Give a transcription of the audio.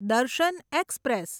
દર્શન એક્સપ્રેસ